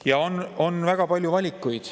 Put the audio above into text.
Ja on väga palju valikuid.